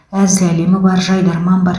әзіл әлемі бар жайдарман бар